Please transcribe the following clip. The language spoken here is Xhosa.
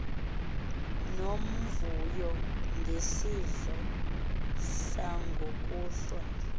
unomvuyo ngesidlo sangokuhlwa